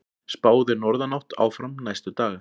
Spáð er norðanátt áfram næstu daga